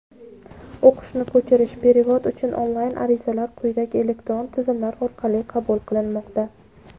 O‘qishni ko‘chirish (perevod) uchun onlayn arizalar quyidagi elektron tizimlar orqali qabul qilinmoqda:.